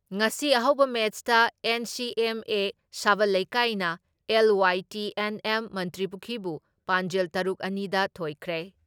ꯉꯁꯤ ꯑꯍꯧꯕ ꯃꯦꯠꯁꯇ ꯑꯦꯟ.ꯁꯤ.ꯑꯦꯝ.ꯑꯦ. ꯁꯕꯜ ꯂꯩꯀꯥꯏꯅ ꯑꯦꯜ.ꯋꯥꯏ.ꯇꯤ.ꯑꯦꯟ.ꯑꯦꯝ. ꯃꯟꯇ꯭ꯔꯤꯄꯨꯈ꯭ꯔꯤꯕꯨ ꯄꯥꯟꯖꯜ ꯇꯔꯨꯛ ꯑꯅꯤ ꯗ ꯊꯣꯏꯈ꯭ꯔꯦ ꯫